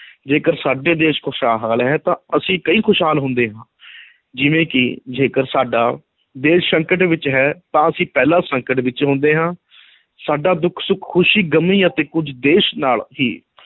ਜੇਕਰ ਸਾਡਾ ਦੇਸ਼ ਖੁਸ਼ਹਾਲ ਹੈ ਤਾਂ ਅਸੀਂ ਖੁਸ਼ਹਾਲ ਹੁੰਦੇ ਹਾਂ ਜਿਵੇਂ ਕਿ ਜੇਕਰ ਸਾਡਾ ਦੇਸ਼ ਸੰਕਟ ਵਿੱਚ ਹੈ ਤਾਂ ਅਸੀਂ ਪਹਿਲਾਂ ਸੰਕਟ ਵਿੱਚ ਹੁੰਦੇ ਹਾਂ ਸਾਡਾ ਦੁੱਖ-ਸੁੱਖ, ਖੁਸ਼ੀ-ਗਮੀ ਅਤੇ ਕੁੱਝ ਦੇਸ਼ ਨਾਲ ਹੀ